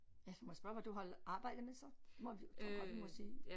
Ja må jeg spørge hvad du har arbejdet med så det må tror jeg godt vi må sige